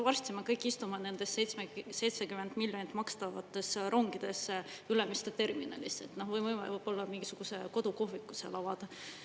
Varsti me kõik istume nendesse 70 miljonit maksvatesse rongidesse Ülemiste terminalis, me võime neis võib-olla mingisugused kodukohvikud avada.